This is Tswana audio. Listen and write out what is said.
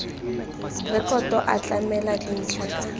rekoto a tlamela dintlha ka